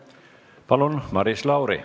Palun, Maris Lauri!